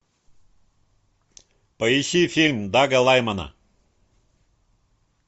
поищи фильм дага лаймана